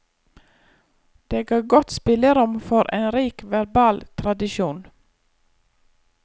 Det ga godt spillerom for en rik verbal tradisjon.